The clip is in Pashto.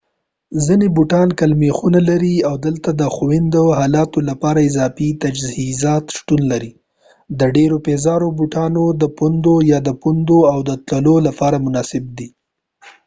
ځینې بوټان ګل میخونه لري او دلته د ښوينده حالاتو لپاره اضافي تجهیزات شتون لري د ډیرو پیزارو او بوټانو د پوندو یا پوندو او تلو لپاره مناسب دي